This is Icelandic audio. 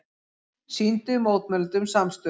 Sýndu mótmælendum samstöðu